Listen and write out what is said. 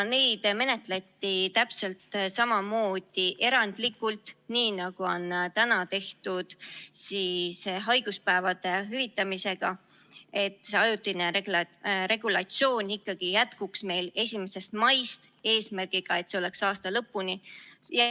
Neid menetleti täpselt samamoodi erandlikult, nagu on täna tehtud haiguspäevade hüvitamisega, et see ajutine regulatsioon ikkagi jätkuks meil 1. maist kuni aasta lõpuni.